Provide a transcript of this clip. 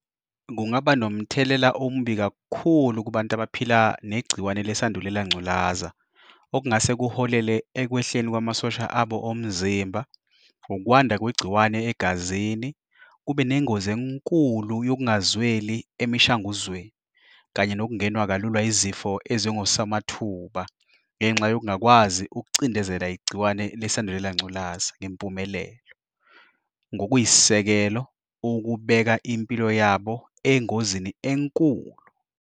Kungaba nomthelela omubi kakhulu kubantu abaphila negciwane lesandulela ngculaza, okungase kuholele ekwehleni kwamasosha abo omzimba, ukwanda kwegciwane egazini, kube nengozi enkulu yokungazweli emishanguzweni, kanye nokungenwa kalula izifo ezingosomathuba ngenxa yokungakwazi ukucindezela igciwane lesandulela ngculazi ngempumelelo. Ngokuyisisekelo ukubeka impilo yabo engozini enkulu.